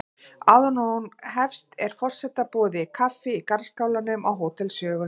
Áður en hún hefst er forseta boðið kaffi í garðskálanum á Hótel Sögu.